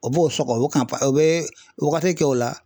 O b'o sɔgɔ o o bɛ wagati kɛ o la.